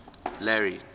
larry